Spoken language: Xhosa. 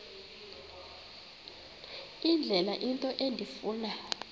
indlela into endifuna